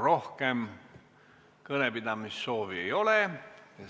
Rohkem kõnepidamisesoovi ei ole ja